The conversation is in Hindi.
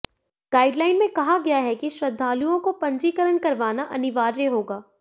गाइडलाइन में कहा गया है कि श्रद्धालुओं को पंजीकरण करवाना अनिवार्य होगा